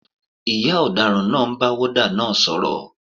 Ìyá ọ̀daràn náà ń bá wọ́ọ́dà náà sọ̀rọ̀